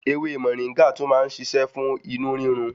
Ewé Mọ̀ríngà tún má ń ṣiṣẹ́ fún inú rírun.